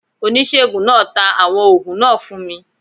Onisegun naa ta awọn oògùn naa fun mi.